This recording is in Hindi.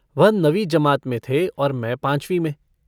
वह नवी जमात में थे मैं पाँचवीं में।